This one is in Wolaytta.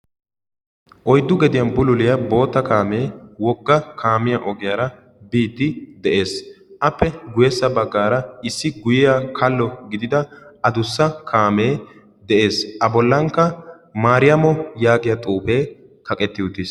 Oyiddu gediyan bululiya bootta kaamee wogga kaamiya ogiyaara biiddi de'es. Appe guyyessa baggaara issi guyyiya kallo gidida adussa kaamee de'ees. A bollankka "maariyamo" yaagiya xuufee kaqetti uttis.